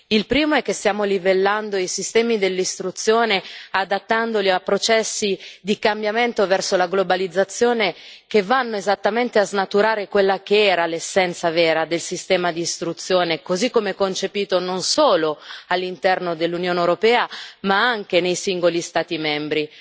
Il primo è che stiamo livellando i sistemi di istruzione adattandoli a processi di cambiamento verso la globalizzazione, che vanno esattamente a snaturare quella che era l'essenza vera del sistema di istruzione così come concepito non solo all'interno dell'Unione europea, ma anche nei singoli Stati membri.